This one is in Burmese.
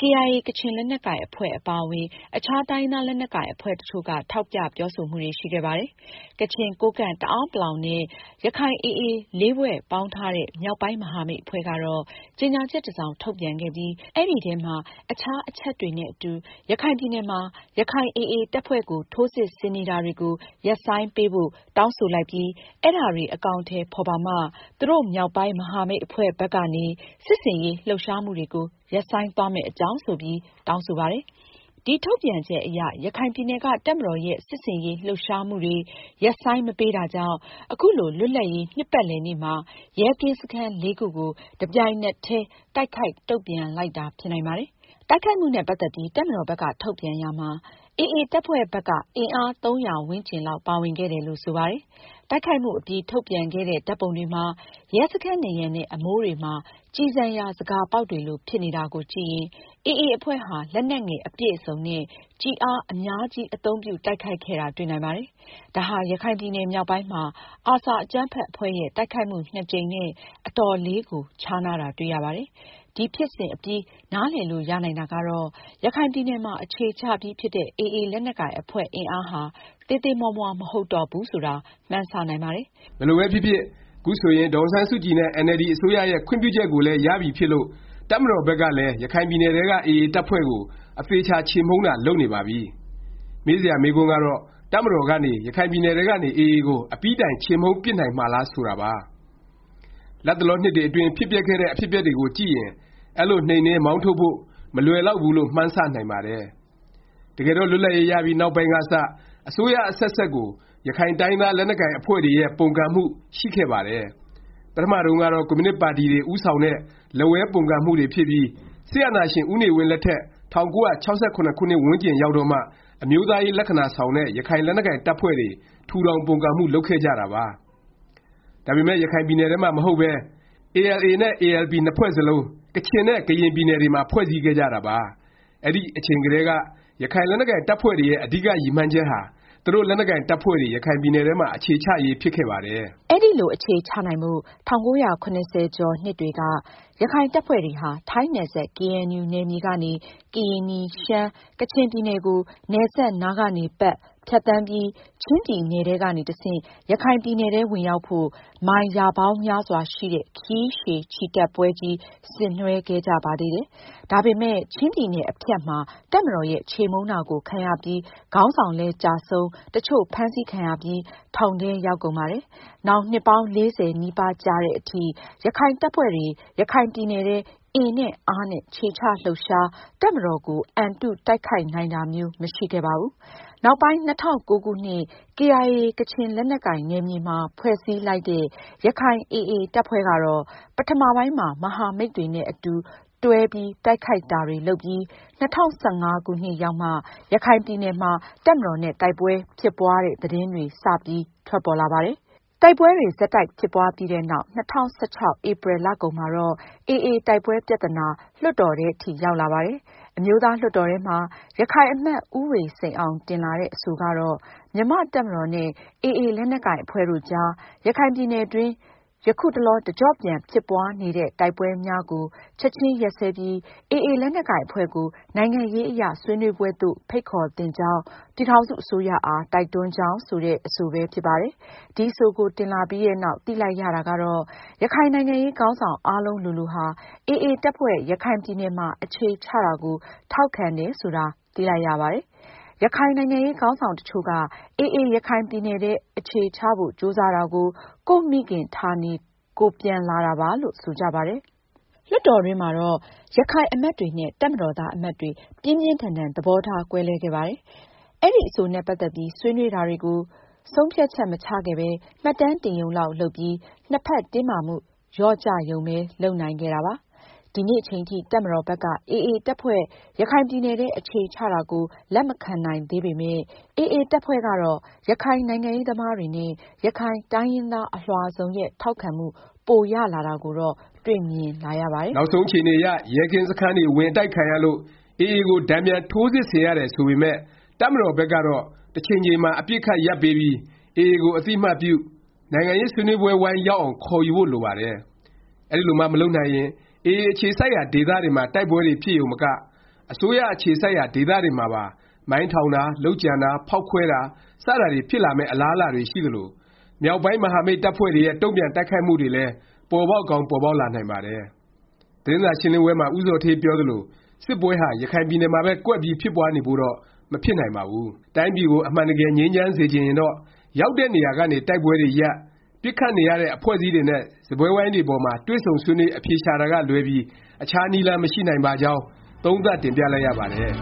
KIA ကချင်လက်နက်ကိုင်အဖွဲ့ အပါအဝင် အခြား တိုင်းရင်းသား လက်နက်ကိုင် အဖွဲ့တစ်ချို့က ထောက်ပြ ပြောဆိုမှုတွေ ရှိခဲ့ပါတယ်။ ကချင်၊ ကိုးကန့်၊ တအာန်းပလောင် နဲ့ ရခိုင် AA ၄ ဖွဲ့ ပေါင်းထားတဲ့ မြောက်ပိုင်း မဟာမိတ်အဖွဲ့ကတော့ ကြေငြာချက် တစ်စောင် ထုတ်ပြန်ခဲ့ပြီး အဲဒီထဲမှာ အခြား အချက်တွေနဲ့ အတူ “ရခိုင်ပြည်နယ်မှာ ရခိုင်AA တပ်ဖွဲ့ကို ထိုးစစ်ဆင်နေတာတွေကို ရပ်ဆိုင်းပေးဖို့ တောင်းဆိုလိုက်ပြီး အဲဒါတွေ အကောင်အထည် ဖော်ပါမှ သူတို့ မြောက်ပိုင်း မဟာမိတ်အဖွဲ့ဘက်ကနေ စစ်ဆင်ရေး လှုပ်ရှားမှုတွေကို ရပ်ဆိုင်းသွားမယ့်အကြောင်း” ဆိုပြီး တောင်းဆိုပါတယ်။ ဒီ ထုတ်ပြန်ချက်အရ ရခိုင်ပြည်နယ်က တပ်မတော်ရဲ့ စစ်ဆင်ရေး လှုပ်ရှားမှုတွေ ရပ်ဆိုင်း မပေးတာကြောင့် ခုလို လွတ်လပ်ရေး နှစ်ပတ်လည်နေ့မှာ ရဲကင်းစခန်း ၄ ခုကို တပြိုင်နက်တည်း တိုက်ခိုက် တုန့်ပြန်လိုက်တာ ဖြစ်နိုင်ပါတယ်။ တိုက်ခိုက်မှုနဲ့ ပတ်သက်ပြီး တပ်မတော်ဘက်က ထုတ်ပြန်ရာမှာ AA တပ်ဖွဲ့ဘက်က အင်အား ၃၀၀ ဝန်းကျင်လောက် ပါဝင်ခဲ့တယ်လို့ ဆိုပါတယ်။ တိုက်ခိုက်မှုအပြီး ထုတ်ပြန်ခဲ့တဲ့ ဓာတ်ပုံတွေမှာ ရဲစခန်းနံရံနဲ့ အမိုးတွေမှာ ကျည်ဆံရာ ဇကာပေါက်တွေလို ဖြစ်နေတာကိုကြည့်ရင် AA အဖွဲ့ဟာ လက်နက်ငယ် အပြည့်အစုံနဲ့ ကျည်အား အများကြီး အသုံးပြု တိုက်ခိုက်ခဲ့တာ တွေ့နိုင်ပါတယ်။ ဒါဟာ ရခိုင်ပြည်နယ်မြောက်ပိုင်းမှာ ARSA အကြမ်းဖက် အဖွဲ့ရဲ့ တိုက်ခိုက်မှု ကြိမ်နဲ့ အတော်လေးကို ခြားနားတာ တွေ့ရပါတယ်။ ဒီဖြစ်စဉ်အပြီး နားလည်လို့ရနိုင်တာကတော့ ရခိုင်ပြည်နယ်မှာ အခြေချပြီးဖြစ်တဲ့ AA လက်နက်ကိုင် အဖွဲ့အင်အားဟာ သေးသေးမွှားမွှား မဟုတ်တော့ဘူးဆိုတာ မှန်းဆ နိုင်ပါတယ်။ ဘယ်လိုပဲဖြစ်ဖြစ် ခုဆိုရင် ဒေါ်အောင်ဆန်းစုကြည်နဲ့ အင်န်အယ်လ်ဒီ အစိုးရရဲ့ ခွင့်ပြုချက်ကိုလည်း ရပြီဖြစ်လို့ တပ်မတော်ဘက်ကလည်း ရခိုင်ပြည်နယ်ထဲက AA တပ်ဖွဲ့ကို အသေအခြာ ချေမှုန်းတာ လုပ်နေပါပြီ။ မေးစရာ မေးခွန်းကတော့ တပ်မတော်ကနေ ရခိုင်ပြည်နယ်ထဲကနေ AA ကို အပြီးတိုင် ချေမှုန်းပစ်နိုင်မှာလား ဆိုတာပါ။ လတ်တလော နှစ်တွေအတွင်း ဖြစ်ပျက်ခဲ့တဲ့ အဖြစ်အပျက်တွေကိုကြည့်ရင် အဲလို နှိမ်နင်း၊ မောင်းထုတ်ဖို့ မလွယ်လောက်ဘူးလို့ မှန်းဆ နိုင်ပါတယ်။ တကယ်တော့ လွတ်လပ်ရေး ရပြီး နောက်ပိုင်းကစ အစိုးရ အဆက်ဆက်ကို ရခိုင်တိုင်းရင်းသား လက်နက်ကိုင်အဖွဲ့တွေရဲ့ ပုန်ကန်မှု ရှိခဲ့ပါတယ်။ ပထမတုန်းကတော့ ကွန်မြူနစ်ပါတီတွေ ဦးဆောင်တဲ့ လက်ဝဲ ပုန်ကန်မှုတွေဖြစ်ပြီး စစ်အာဏာရှင် ဦးနေဝင်းလက်ထက် ၁၉၆၇ ခုနှစ်ဝန်းကျင်ရောက်တော့မှ အမျိုးသားရေး လက္ခဏာဆောင်တဲ့ ရခိုင်လက်နက်ကိုင် တပ်ဖွဲ့တွေ ထူထောင် ပုန်ကန်မှု လုပ်ခဲ့ကြတာပါ။ ဒါပေမယ့် ရခိုင်ပြည်နယ်ထဲမှာ မဟုတ်ပဲ ALA နဲ့ ALP နှစ်ဖွဲ့စလုံး ကချင်နဲ့ ကရင်ပြည်နယ်တွေမှာ ဖွဲ့စည်းခဲ့ကြတာပါ။ အဲဒီအချိန်ကတည်းက ရခိုင်လက်နက်ကိုင် တပ်ဖွဲ့တွေရဲ့ အဓိက ရည်မှန်းချက်ဟာ သူတို့ လက်နက်ကိုင် တပ်ဖွဲ့တွေ ရခိုင်ပြည်နယ်ထဲမှာ အခြေချရေး ဖြစ်ခဲ့ပါတယ်။ အဲလို အခြေချနိုင်ဖို့ ၁၉၇၀ ကျော်နှစ်တွေက ရခိုင်တပ်ဖွဲ့တွေဟာ ထိုင်းနယ်စပ် ကေအဲန်ယူ နယ်မြေကနေ ကရင်နီ၊ ရှမ်း၊ ကချင် ပြည်နယ်ကို နယ်စပ်နားကနေ ပတ်၊ ဖြတ်သန်းပြီး ချင်းပြည်နယ်ထဲကနေ တဆင့် ရခိုင်ပြည်နယ်ထဲဝင်ရောက်ဖို့ မိုင် ရာပေါင်းများစွာရှိတဲ့ ခရီးရှည်ချီတက်ပွဲကြီး ဆင်နွဲှခဲ့ကြပါသေးတယ်။ ဒါပေမယ့် ချင်းပြည်နယ် အဖြတ်မှာ တပ်မတော်ရဲ့ ချေမှုန်းတာကို ခံရပြီး ခေါင်းဆောင်လည်းကျဆုံး တစ်ချို့ ဖမ်းဆီးခံရပြီး ထောင်ထဲရောက်ကုန်ပါတယ်။ နောင် နှစ်ပေါင်း ၄၀ နီးပါးကြာသည်အထိ ရခိုင်တပ်ဖွဲ့တွေ ရခိုင်ပြည်နယ်ထဲ အင်နဲ့အားနဲ့ ခြေချလှုပ်ရှား၊ တပ်မတော်ကို အံတု တိုက်ခိုက် နိုင်တာမျိုး မရှိခဲ့ပါဘူး။ နောက်ပိုင်း ၂၀၀၉ ခုနှစ် KIA ကချင်လက်နက်ကိုင် နယ်မြေမှာ ဖွဲ့စည်းလိုက်တဲ့ ရခိုင် AA တပ်ဖွဲ့ကတော့ ပထမပိုင်းမှာ မဟာမိတ်တွေနဲ့ အတူတွဲ တိုက်ခိုက်တာတွေ လုပ်ပြီး ၂၀၁၅ ခုနှစ်ရောက်မှ ရခိုင်ပြည်နယ်မှာ တပ်မတော်နဲ့ တိုက်ပွဲဖြစ်ပွားတဲ့ သတင်းတွေ စပြီး ထွက်ပေါ်လာပါတယ်။ တိုက်ပွဲတွေ ဆက်တိုက်ဖြစ်ပွားပြီးနောက် ၂၀၁၆ ဧပြီလကုန်မှာတော့ AA တိုက်ပွဲပြသနာ လွှတ်တော်ထဲအထိ ရောက်လာပါတယ်။ အမျိုးသားလွှတ်တော်ထဲမှာ ရခိုင်အမတ် ဦးဝေစိန်အောင် တင်လာတဲ့ အဆိုကတော့ “ မြန်မာ့ တပ်မတော်နဲ့ AA လက်နက်ကိုင် အဖွဲ့တို့အကြား ရခိုင်ပြည်နယ် အတွင်း ယခုတလော တကြော့ပြန် ဖြစ်ပွားနေသည့် တိုက်ပွဲများကို ချက်ခြင်း ရပ်စဲပြီး AA လက်နက်ကိုင် အဖွဲ့ကို နိုင်ငံရေးအရ ဆွေးနွေးပွဲသို့ ဖိတ်ခေါ်သင့်ကြောင်း ပြည်ထောင်စု အစိုးရအား တိုက်တွန်းကြောင်း” ဆိုတဲ့ အဆိုပဲ ဖြစ်ပါတယ်။ ဒီအဆိုကို တင်လာပြီးနောက် သိလိုက်ရတာကတော့ ရခိုင်နိုင်ငံရေး ခေါင်းဆောင် အားလုံးလိုလိုဟာ AA တပ်ဖွဲ့ ရခိုင်ပြည်နယ်မှာ အခြေချတာကို ထောက်ခံတယ်ဆိုတာ သိလိုက်ရပါတယ်။ ရခိုင်နိုင်ငံရေး ခေါင်းဆောင်တစ်ချို့က AA ရခိုင်ပြည်နယ်ထဲ အခြေချဖို့ ကြိုးစားတာကို ကိုယ့်မိခင်ဌာနေ ကိုယ်ပြန်လာတာပါလို့ ဆိုကြပါတယ်။ လွှတ်တော်တွင်းမှာတော့ ရခိုင်အမတ်တွေနဲ့ တပ်မတော်သား အမတ်တွေ ပြင်းပြင်းထန်ထန် သဘောထားကွဲလွဲခဲ့ပါတယ်။ အဲဒီ အဆိုနဲ့ ပတ်သက်ပြီး ဆွေးနွေးတာတွေကို ဆုံးဖြတ်ချက် မချခဲ့ပဲ မှတ်တမ်းတင်ရုံလောက် လုပ်ပြီး နှစ်ဖက်တင်းမာမှု လျော့ကျရုံပဲ လုပ်နိုင်ခဲ့တာပါ။ ဒီနေ့အချိန်ထိ တပ်မတော်ဘက်က AA တပ်ဖွဲ့ ရခိုင်ပြည်နယ်ထဲ အခြေချတာကို လက်မခံနိုင်သေးပေမယ့် AA တပ်ဖွဲ့ကတော့ ရခိုင်နိုင်ငံရေးသမားတွေနဲ့ ရခိုင်တိုင်းရင်းသား အလွှာစုံရဲ့ ထောက်ခံမှု ပိုရလာတာကိုတော့ တွေ့မြင်လာရပါတယ်။ နောက်ဆုံးအခြေအနေအရ ရဲကင်းစခန်းတွေ ဝင်အတိုက်ခံရလို့ AA ကို တန်ပြန် ထိုးစစ်ဆင်ရတယ် ဆိုပေမယ့် တပ်မတော်ဘက်ကတော့ တစ်ချိန်ချိန်မှာ အပစ်အခတ် ရပ်ပေးပြီး AA ကို အသိအမှတ်ပြု၊ နိုင်ငံရေး ဆွေးနွေးပွဲဝိုင်းရောက်အောင် ခေါ်ယူဖို့ လိုပါတယ်။ အဲဒီလိုမှ မလုပ်နိုင်ရင် AA အခြေစိုက်ရာ ဒေသတွေမှာ တိုက်ပွဲတွေ ဖြစ်ရုံမက၊ အစိုးရအခြေစိုက်ရာ ဒေသတွေမှာပါ မိုင်းထောင်တာ၊ လုပ်ကြံတာ၊ ဖေါက်ခွဲတာ စတာတွေ ဖြစ်လာမယ့် အလားအလာတွေ ရှိသလို၊ မြောက်ပိုင်း မဟာမိတ် တပ်ဖွဲ့တွေရဲ့ တုန့်ပြန် တိုက်ခိုက်မှုတွေလည်း ပေါ်ပေါက်ကောင်း ပေါ်ပေါက်လာနိုင်ပါတယ်။ သတင်းစာရှင်းလင်းပွဲမှာ ဦးဇော်ဌေးပြောသလို စစ်ပွဲဟာ ရခိုင်ပြည်နယ်မှာပဲ ကွက်ပြီး ဖြစ်ပွားနေဖို့တော့ မဖြစ်နိုင်ပါဘူး။ တိုင်းပြည်ကို အမှန်တကယ် ငြိမ်းချမ်းစေချင်ရင်တော့ ရောက်တဲ့ နေရာကနေ တိုက်ပွဲတွေရပ်၊ ပစ်ခတ်နေရတဲ့ အဖွဲ့အစည်းတွေနဲ့ စားပွဲဝိုင်းပေါ်မှာ တွေ့ဆုံဆွေးနွေး အဖြေရှာတာကလွဲပြီး အခြားနည်းလမ်း မရှိနိုင်ပါကြောင်း သုံးသပ် တင်ပြလိုက်ရပါတယ်။